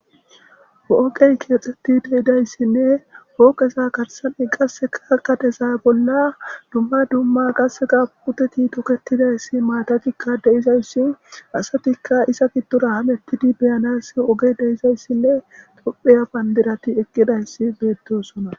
Poqey keexxetti deidayssinne pooqesa katesan7i qasseka kateza bolla dumma dumma qasseqa puteti toketidayssi maatatikka deizayssi asatikka isa giddora hamettidi beyanayss oge deizayssinne topheya bandirati eqqidayssi beettosona